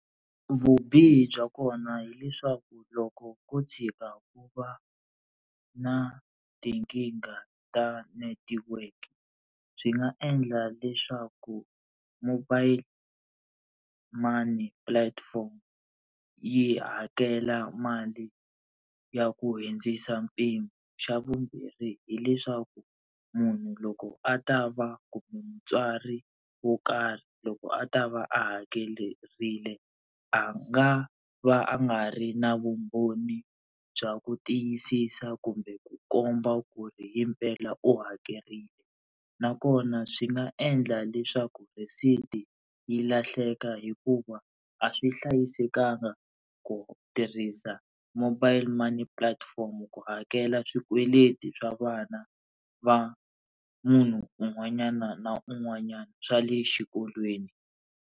Vubihi bya kona hileswaku loko ku tshika ku va na tinkingha ta netiweke swi nga endla leswaku mobile money platform yi hakela mali ya ku hundzisa mpimo. Xa vumbirhi hileswaku munhu loko a ta va kumbe mutswari wo karhi loko a ta va a hakerile a nga va a nga ri na vumbhoni bya ku tiyisisa kumbe ku komba ku ri himpela u hakerile, nakona swi nga endla leswaku rhesiti yi lahleka hikuva a swi hlayisekanga ku tirhisa mobile money platform ku hakela swikweleti swa vana va munhu un'wanyana na un'wanyana, swa le xikolweni.